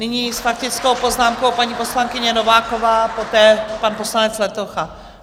Nyní s faktickou poznámkou paní poslankyně Nováková, poté pan poslanec Letocha.